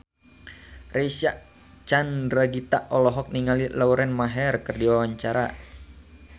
Reysa Chandragitta olohok ningali Lauren Maher keur diwawancara